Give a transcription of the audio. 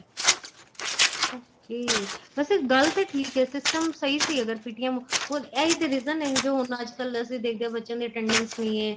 okay ਵੈਸੇ ਗੱਲ ਤੇ ਠੀਕ ਏ system ਸਹੀ ਸੀ ਅਗਰ PTM ਹੁਣ ਇਹ ਈ ਤੇ reason ਏ ਜੋ ਹੁਣ ਅੱਜ ਕੱਲ ਅਸੀਂ ਦੇਖਦੇ ਆ ਬੱਚਿਆਂ ਦੀ attendance ਨੀਂ ਏ